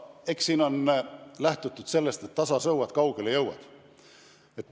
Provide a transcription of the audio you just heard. Eks siin on lähtutud sellest, et tasa sõuad, kaugele jõuad.